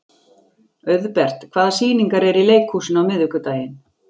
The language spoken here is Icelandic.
Auðbert, hvaða sýningar eru í leikhúsinu á miðvikudaginn?